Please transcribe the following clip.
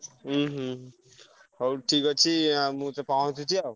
ଉଁହୁଁ ହଉ ଠିକ୍ ଅଛି ଆଉ ମୁଁ ପହଁଞ୍ଚୁଛି ଆଉ।